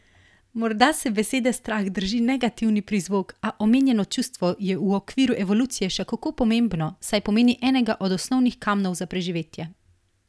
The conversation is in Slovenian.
Morda se besede strah drži negativni prizvok, a omenjeno čustvo je v okviru evolucije še kako pomembno, saj pomeni enega od osnovnih kamnov za preživetje.